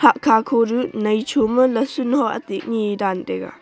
hahkha khonu nai cho dan taiga.